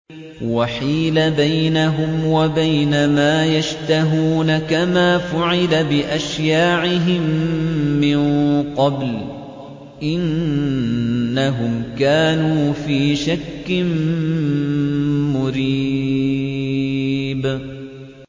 وَحِيلَ بَيْنَهُمْ وَبَيْنَ مَا يَشْتَهُونَ كَمَا فُعِلَ بِأَشْيَاعِهِم مِّن قَبْلُ ۚ إِنَّهُمْ كَانُوا فِي شَكٍّ مُّرِيبٍ